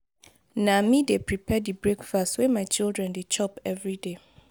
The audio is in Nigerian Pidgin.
na me dey prepare di breakfast wey my children dey chop everyday.